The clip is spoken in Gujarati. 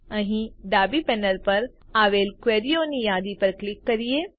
અહીં ડાબી પેનલ ઉપર આવેલ ક્વેરીઓની યાદી પર ક્લિક કરીએ